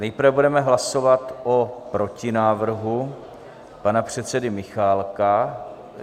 Nejprve budeme hlasovat o protinávrhu pana předsedy Michálka.